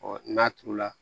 n'a turu la